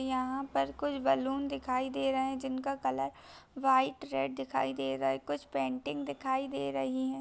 यहाँ पर कुछ बैलून दिखाई दे रहें जिनका कलर व्हाइट रेड दिखाई दे रहा है कुछ पेंटिंग दिखाई दे रहीं हैं।